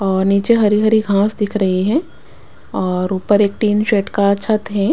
और नीचे हरी हरी घास दिख रही है और ऊपर एक टीन शेट का छत है।